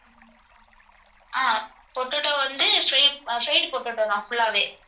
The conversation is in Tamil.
அஹ் potato வந்து fried~fried potato தான் full ஆவே.